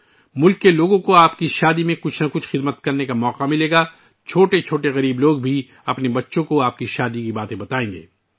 آپ کی شادی میں ملک کے لوگوں کو کوئی نہ کوئی خدمت کرنے کا موقع ملے گا... غریب لوگ بھی اپنے بچوں کو اس موقع کے بارے میں بتائیں گے